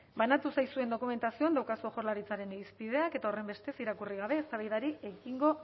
banatu zaizuen dokumentazioan dauzkazue jaurlaritzaren irizpideak eta horrenbestez irakurri gabe eztabaidari ekingo